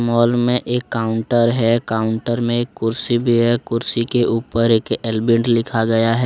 Whole में एक counter है। काउंटर में एक कुर्सी भी है। कुर्सी के ऊपर एक अलबेंड लिखा गया है।